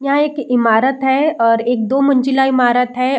यह एक ईमारत है और एक दो मंजिला ईमारत हैं।